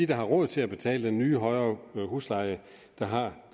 der har råd til at betale den nye højere husleje der har